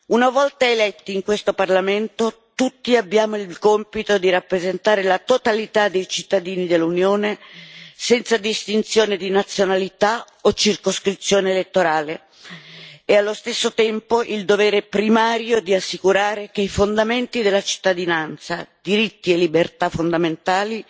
Una volta eletti in questo Parlamento, tutti abbiamo il compito di rappresentare la totalità dei cittadini dell'Unione, senza distinzione di nazionalità o circoscrizione elettorale, e allo stesso tempo il dovere primario di assicurare che i fondamenti della cittadinanza, diritti e libertà fondamentali,